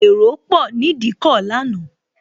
Èrò pò ni Ìdíkọ̀ lánàá